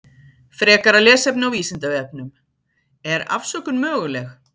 Frekara lesefni á Vísindavefnum: Er afsökun möguleg?